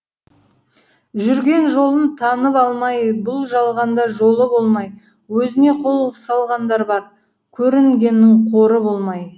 жүрген жолын танып алмай бұл жалғанда жолы болмай өзіне қол салғандар бар көрінгеннің қоры болмай